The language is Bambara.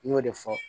I y'o de fɔ